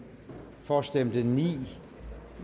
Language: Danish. for stemte ni